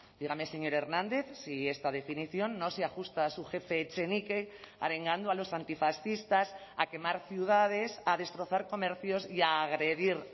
dígame señor hernández si esta definición no se ajusta a su jefe echenique arengando a los antifascistas a quemar ciudades a destrozar comercios y a agredir